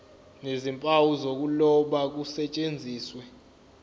nezimpawu zokuloba kusetshenziswe